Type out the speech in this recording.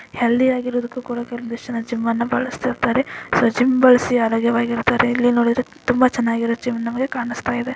Healthy ಆಗಿರೋದಕ್ಕೂ ಕೂಡ ಕೆಲವೊಂದಿಷ್ಟು ಜನ ಜಿಮ್ ನ್ನ ಬಳಸ್ತಿರ್ತಾರೆ ಸೊ ಜಿಮ್ ಬಳಸಿ ಆರೋಗ್ಯವಾಗಿರ್ತಾರೆ ಇಲ್ಲಿ ನೋಡಿದ್ರೆ ತುಂಬಾ ಚೆನ್ನಾಗಿರುವ ಜಿಮ್ ನಮಗೆ ಕಾಣಿಸ್ತಾ ಇದೆ.